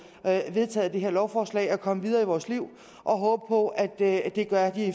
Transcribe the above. vedtaget det her lovforslag og komme videre i vores liv og håbe på at det gør